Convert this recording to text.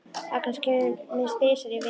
Agnes kemur minnst þrisvar í viku.